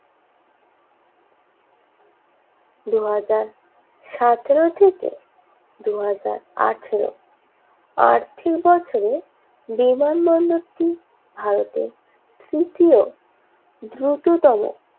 দুই হাজার সাতেরও থেকে দুই হাজার আঠেরো আর্থিক বছরে বিমানবন্দরটি ভারতের তৃতীয় দ্রুততম